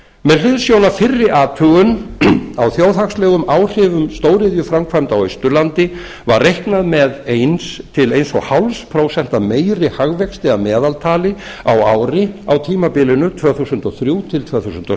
með hliðsjón af fyrri athugun á þjóðhagslegum áhrifum stóriðjuframkvæmda á austurlandi var reiknað með einum til eins og hálft prósent meiri hagvexti að meðaltali á ári á tímabilinu tvö þúsund og þrjú til tvö þúsund og